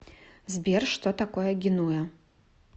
сбер что такое генуя